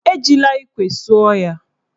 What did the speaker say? Ejila ikwe suo ya.